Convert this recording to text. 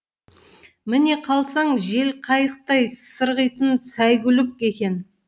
міне қалсаң желқайықтай сырғитын сәйгүлік екен